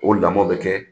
O lamɔ bɛ kɛ